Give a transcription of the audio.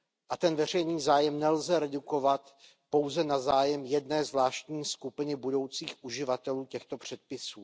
A ten veřejný zájem nelze redukovat pouze na zájem jedné zvláštní skupiny budoucích uživatelů těchto předpisů.